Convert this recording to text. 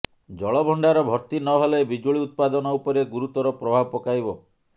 ଜଳଭଣ୍ଡାର ଭର୍ତି ନ ହେଲେ ବିଜୁଳି ଉତ୍ପାଦନ ଉପରେ ଗୁରୁତର ପ୍ରଭାବ ପକାଇବ